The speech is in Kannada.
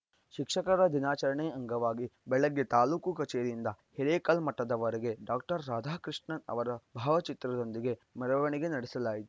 ಶಿಕ್ಷಕರ ದಿನಾಚರಣೆ ಅಂಗವಾಗಿ ಬೆಳಗ್ಗೆ ತಾಲೂಕು ಕಚೇರಿಯಿಂದ ಹಿರೇಕಲ್ಮಠದವರೆಗೆ ಡಾಕ್ಟರ್ ರಾಧಾಕೃಷ್ಣನ್‌ ಅವರ ಭಾವಚಿತ್ರದೊಂದಿಗೆ ಮೆರವಣಿಗೆ ನಡೆಸಲಾಯಿತು